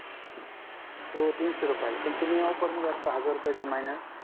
तो तीनशे रुपयाला पण ऑफर मध्ये तुम्ही आता हजार रूपयाच्या महिन्यात